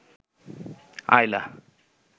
আইলা